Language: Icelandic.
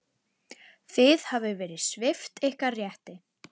Þið hafið verið svipt ykkar rétti.